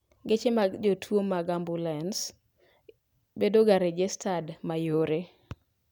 Geche mag jotwoo mag ambulens bedoga rejestad mayore